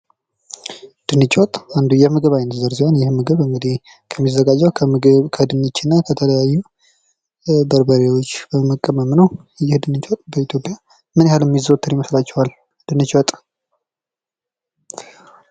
ድንች ወጥ አንዱ የምግብ አይነት ሲሆን ይህም የምግብ እንግዲህ ከሚዘጋጀው ከምግብ ከድንችና ከተለያዩ ኧ በርበሬዎች በመቀመም ነው ።ይህ ድንች ወጥ በኢትዮጵያ ምን ያህል የሚዘወትር ይመስላቸዋል? ድንች ወጥ...